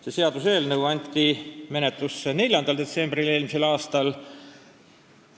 See seaduseelnõu anti menetlusse 4. detsembril eelmisel aastal.